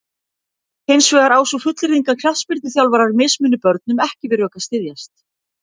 Hins vegar á sú fullyrðing að knattspyrnuþjálfarar mismuni börnum ekki við rök að styðjast.